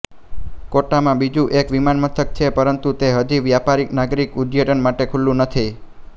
કોટામાં બીજું એક વિમાનમથક છે પરંતુ તે હજી વ્યાપારીનાગરિક ઉડ્ડયન માટે ખુલ્લું નથી